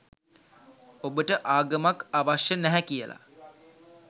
ඔබට ආගමක් අවශ්‍ය නැහැ කියල.